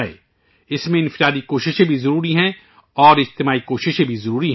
اس میں انفرادی کوشش بھی اہم ہے اور اجتماعی کوششیں بھی ضروری ہیں